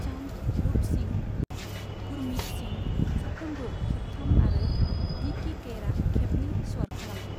चान्द, रूप सिंह, गुरमीत सिंह, साफ्रोमबो खेबथाम आरो डिकी कैरआ खेबनै स्वर खालामदों।